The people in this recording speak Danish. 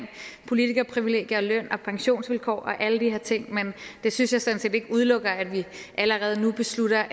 politikerprivilegier og løn og pensionsvilkår og alle de her ting men det synes jeg sådan set ikke udelukker at vi allerede nu beslutter